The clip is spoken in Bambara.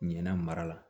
Ɲinɛn mara la